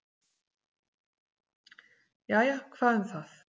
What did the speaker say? """Jæja, hvað um það."""